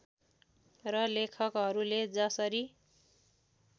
र लेखकहरूले जसरी